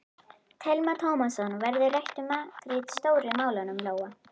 Telma Tómasson: Verður rætt um makríl Stóru málunum, Lóa?